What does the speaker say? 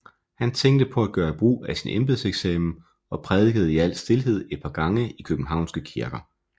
Han tænkte på at gøre brug af sin embedseksamen og prædikede i al stilhed et par gange i Københavnske kirker